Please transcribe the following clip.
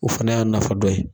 O fana y'a nafa dɔ ye.